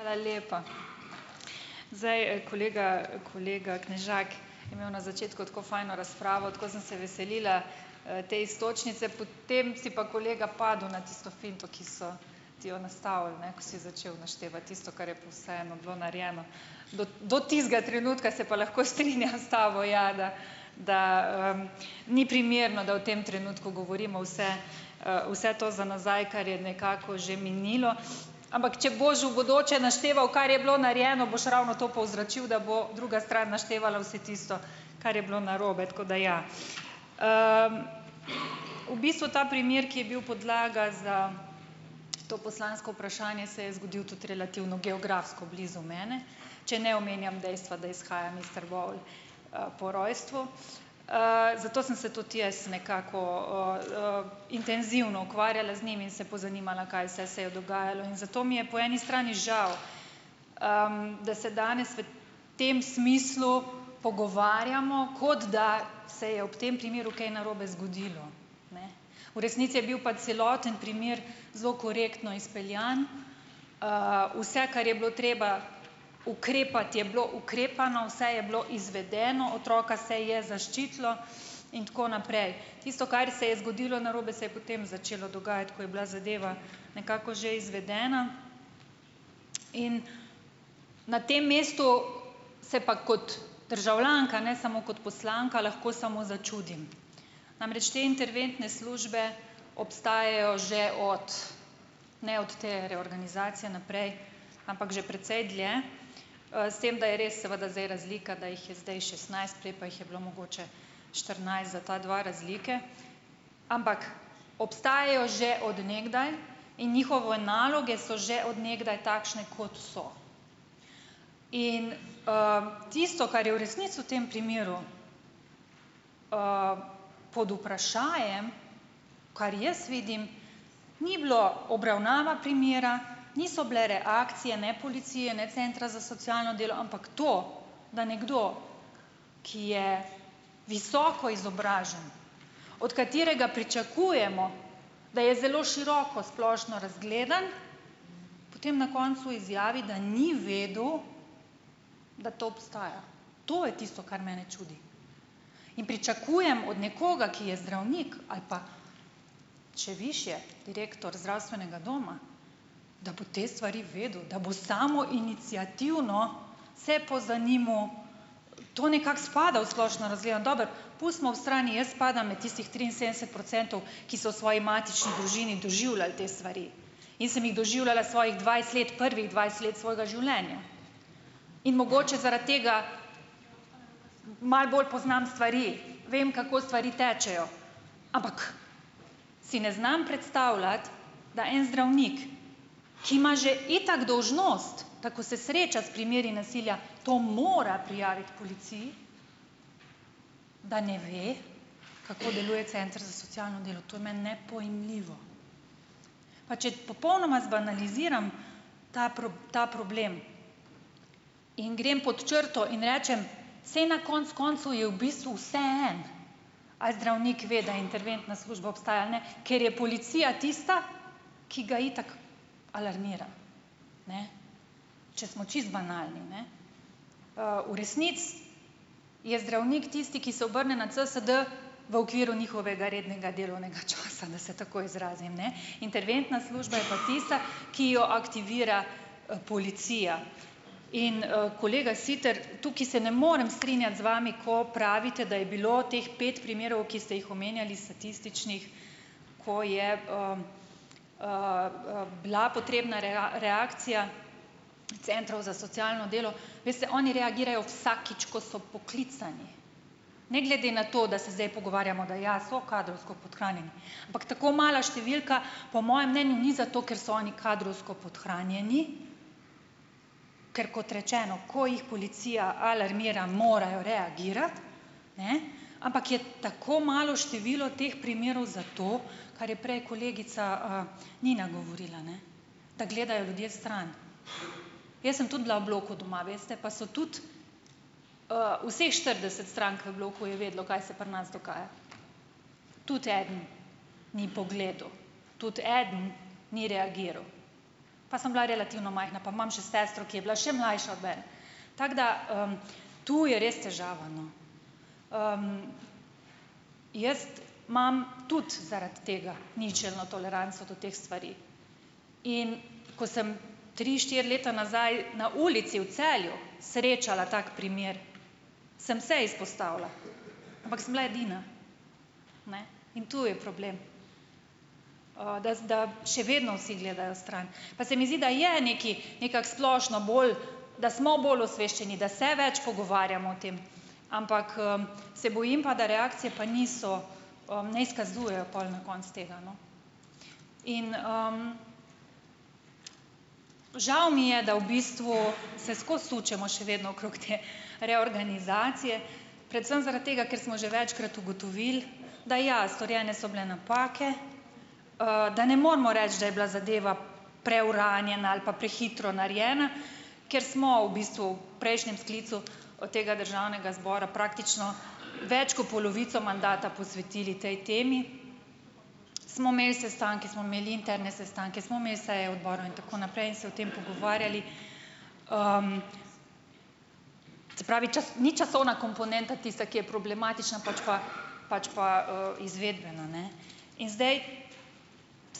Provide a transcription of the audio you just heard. Hvala lepa. Zdaj, kolega, kolega Knežak je imel na začetku tako fajno razpravo, tako sem se veselila te iztočnice, potem si pa kolega padel na tisto finto, ki so ti jo nastavili, ne, ko si začel naštevati tisto, kar je vseeno bilo narejeno. Do, do tistega trenutka se pa lahko strinjam s tabo, ja, da da ni primerno, da v tem trenutku govorimo vse , vse to za nazaj, kar je nekako že minilo, ampak, če boš v bodoče našteval, kar je bilo narejeno, boš ravno to povzročil, da bo druga stran naštevala vse tisto, kar je bilo narobe, tako da, ja. V bistvu ta primer, ki je bil podlaga za to poslansko vprašanje, se je zgodil tudi relativno geografsko blizu mene, če ne omenjam dejstva, da izhajam is Trbovelj po rojstvu, zato sem se tudi jaz nekako intenzivno ukvarjala z njim in se pozanimala, kaj vse se je dogajalo. In zato mi je po eni strani žal, da se danes v tem smislu pogovarjamo, kot da se je ob tem primeru kaj narobe zgodilo. Ne. V resnici je bil pa celoten primer zelo korektno izpeljan, vse, kar je bilo treba ukrepati je bilo ukrepano, vse je bilo izvedeno, otroka se je zaščitilo in tako naprej. Tisto, kar se je zgodilo narobe, se je potem začelo dogajati, ko je bila zadeva nekako že izvedena in na tem mestu se pa kot državljanka, ne samo kot poslanka, lahko samo začudim. Namreč te interventne službe obstajajo že od, ne od te reorganizacije naprej, ampak že precej dlje, s tem, da je res seveda zdaj razlika, da jih je zdaj šestnajst, prej pa jih je bilo mogoče štirinajst, za ta dva razlike. Ampak obstajajo že od nekdaj in njihove naloge so že od nekdaj takšne, kot so. In, tisto, kar je v resnici v tem primeru pod vprašajem, kar jaz vidim, ni bilo obravnava primera, niso bile reakcije ne policije ne Centra za socialno delo, ampak to, da nekdo, ki je visoko izobražen, od katerega pričakujemo, da je zelo široko splošno razgledan, potem na koncu izjavi, da ni vedel, da to obstaja. To je tisto, kar mene čudi. In pričakujem od nekoga, ki je zdravnik ali pa še višje, direktor zdravstvenega doma, da bo te stvari vedel, da bo samoiniciativno se pozanimal, to nekako spada v splošno dobro, pustimo ob strani, jaz spadam med tistih triinsedemdeset procentov, ki so v svoji matični družini doživljali te stvari. In sem jih doživljala svojih dvajset let, prvih dvajset let svojega življenja. In mogoče zaradi tega malo bolj poznam stvari, vem kako stvari tečejo. Ampak si ne znam predstavljati, da en zdravnik, ki ima že itak dolžnost, da ko se sreča s primeri nasilja, to mora prijaviti policiji. Da ne ve, kako deluje Center za socialno delo. To je meni nepojmljivo. Pa če popolnoma zbanaliziram ta ta problem. In grem pod črto in rečem: "Saj na koncu koncev je v bistvu vseeno." Ali zdravnik ve, da interventna služba obstaja ali ne, ker je policija tista, ki ga itak alarmira. Ne. Če smo čisto banalni, ne. v resnici je zdravnik tisti, ki se obrne na CSD v okviru njihovega rednega delovnega časa, da se tako izrazim, ne. Interventna služba je pa tista , ki jo aktivira policija, in kolega Sitar, tukaj se ne morem strinjati z vami, ko pravite, da je bilo teh pet primerov, ki ste jih omenjali, statističnih, ko je bila potrebna reakcija Centrov za socialno delo, veste, oni reagirajo vsakič, ko so poklicani. Ne glede na to, da se zdaj pogovarjamo, da ja so kadrovsko podhranjeni, ampak tako mala številka po mojem mnenju ni za to, ker so oni kadrovsko podhranjeni, ker kot rečeno, ko jih policija alarmira, morajo reagirati, ne, ampak je tako malo število teh primerov zato, kar je prej kolegica Nina govorila, ne. Da gledajo ljudje stran. Jaz sem tudi bila v bloku doma, veste, pa so tudi vseh štirideset strank v bloku je vedelo, kaj se pri nas dogaja. Tudi eden ni pogledal, tudi eden ni reagiral. Pa sem bila relativno majhna, pa imam še sestro, ki je bila še mlajša od mene. Tako da to je res težava, no. Jaz imam tudi zaradi tega ničelno toleranco do teh stvari. In, ko sem tri, štiri leta nazaj, na ulici v Celju, srečala tak primer, sem se izpostavila, ampak sem bila edina, ne. In to je problem. da, da še vedno vsi gledajo stran. Pa se mi zdi, da je nekaj, nekako splošno bolj, da smo bolj osveščeni, da se več pogovarjamo o tem, ampak se bojim pa, da reakcije pa niso , ne izkazujejo pol na koncu tega, no. In žal mi je, da v bistvu se skozi sučemo še vedno okrog te reorganizacije, predvsem zaradi tega, ker smo že večkrat ugotovili, da ja, storjene so bile napake, da ne moremo reči, da je bila zadeva preuranjena ali pa prehitro narejena, ker smo v bistvu prejšnjem sklicu tega Državnega zbora praktično več kot polovico mandata posvetili tej temi. Smo imeli sestanke, smo imeli interne sestanke, smo imeli seje Odbora in tako naprej in se o tem pogovarjali . se pravi ni časovna komponenta tista, ki je problematična, pač pa , pač pa izvedbena, ne. In zdaj